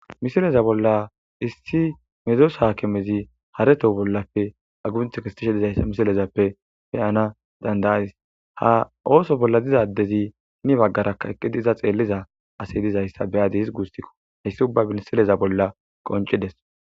misileza bolla issi medos haakimezi hareto bollappe agunth kistishe dizaysa misilezappe peyana dandayays ha ooso bolla dizaddezi hini baggara eqqidiza xeelliza asi dizayssa beyadi his guustikko hayssi ubba binsileza bolla qoncides